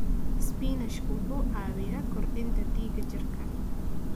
Isbinaashka wuxuu caawiyaa kordhinta dhiigga jirka.